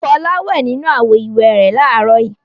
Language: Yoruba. Fọlá wẹ̀ nínú àwo-ìwẹ̀ rẹ̀ láàárọ̀ yìí.